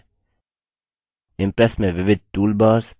impress में विविध toolbars